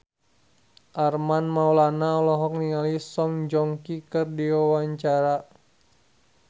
Armand Maulana olohok ningali Song Joong Ki keur diwawancara